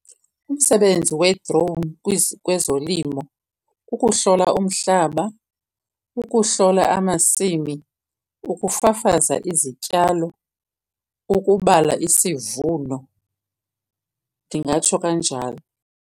Umsebenzi we-drone kwezolimo kukuhlola umhlaba, ukuhlola amasimi, ukufafaza izityalo, ukubala isivuno. Ndingatsho kanjalo.